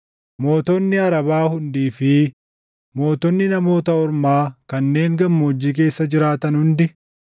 mootonni Arabaa hundii fi mootonni Namoota Ormaa kanneen gammoojjii keessa jiraatan hundi,